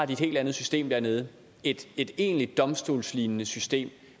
de et helt andet system dernede et egentlig domstolslignende system